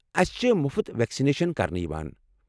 اسہ چھِ مٗفت ویکسنیشن كرنہٕ یوان ۔